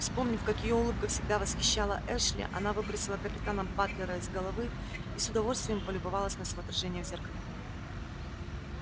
вспомнив как её улыбка всегда восхищала эшли она выбросила капитана батлера из головы и с удовольствием полюбовалась на своё отражение в зеркале